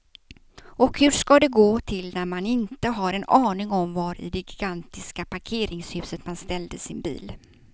Och hur ska det gå till när man inte har en aning om var i det gigantiska parkeringshuset man ställde sin bil.